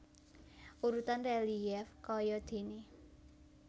Urutan relief kayadéné